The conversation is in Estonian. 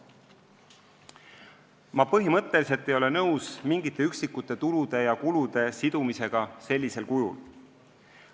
" Ma ei ole põhimõtteliselt nõus üksikute tulude ja kulude sidumisega sellisel kujul.